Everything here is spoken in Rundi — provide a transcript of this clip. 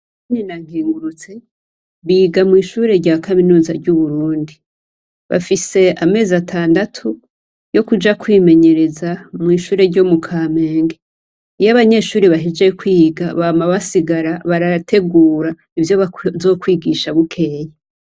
Nadine na Nkengurutse, biga mw'ishure rya kaminuza y'Uburundi. Bafise amezi atandatu yo kuja kwimenyereza mw'ishure ryo mu Kamenge. Iyo abanyeshure bahejeje kwiga bama basigara barategura ivyo bazokwigisha bukeye.